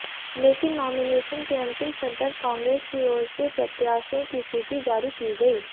लेकिन नॉमिनेशन के अंतिम सदर कांग्रेस की ओर से प्रत्याशियों की सूची जारी की गई